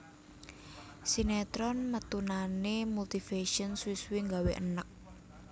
Sinetron metunane Multivision suwi suwi nggawe eneg